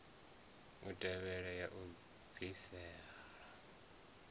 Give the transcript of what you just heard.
u tevhelwa ya u bvisela